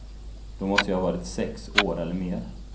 Då måste jag ha varit sex år eller mer.